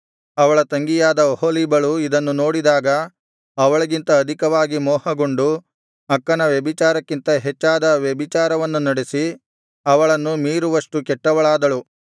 ಅವಳ ತಂಗಿಯಾದ ಒಹೊಲೀಬಳು ಇದನ್ನು ನೋಡಿದಾಗ ಅವಳಿಗಿಂತ ಅಧಿಕವಾಗಿ ಮೋಹಗೊಂಡು ಅಕ್ಕನ ವ್ಯಭಿಚಾರಕ್ಕಿಂತ ಹೆಚ್ಚಾದ ವ್ಯಭಿಚಾರವನ್ನು ನಡೆಸಿ ಅವಳನ್ನು ಮೀರುವಷ್ಟು ಕೆಟ್ಟವಳಾದಳು